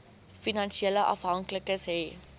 finansiële afhanklikes hê